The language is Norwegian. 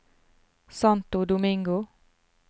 Santo Domingo